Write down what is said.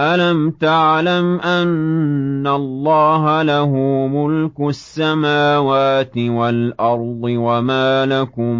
أَلَمْ تَعْلَمْ أَنَّ اللَّهَ لَهُ مُلْكُ السَّمَاوَاتِ وَالْأَرْضِ ۗ وَمَا لَكُم